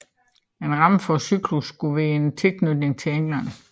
En ramme for cyklussen skulle være en tilknytning til England